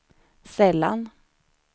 sällan